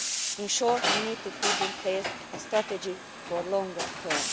In short we need to put in place a strategy for the longer term.